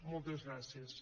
moltes gràcies